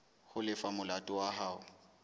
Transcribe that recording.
ho lefa molato wa hao